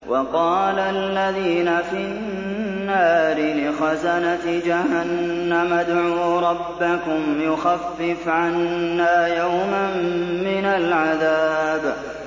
وَقَالَ الَّذِينَ فِي النَّارِ لِخَزَنَةِ جَهَنَّمَ ادْعُوا رَبَّكُمْ يُخَفِّفْ عَنَّا يَوْمًا مِّنَ الْعَذَابِ